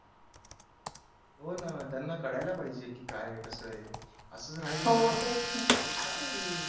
हो ना त्यांना कळायला पाहिजे की काय आहे कसा आहे असंच राहील ना काय आहे हे